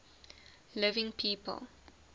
living people